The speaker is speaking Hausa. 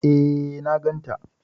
E, na ganta.